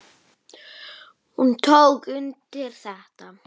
Hún tók undir þetta.